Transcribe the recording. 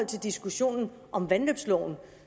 til diskussionen om vandløbsloven